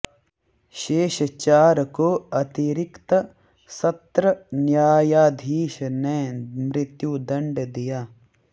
शेष चार को अतिरिक्त सत्र न्यायाधीश ने मृत्युदंड दिया